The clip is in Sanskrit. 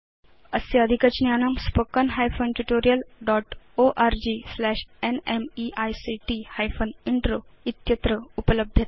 अस्य अधिकज्ञानम् spoken hyphen tutorial dot org slash NMEICT hyphen intro इत्यत्र उपलभ्यते